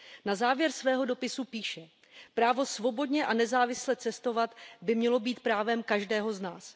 Na závěr svého dopisu píše ,,Právo svobodně a nezávisle cestovat by mělo být právem každého z nás.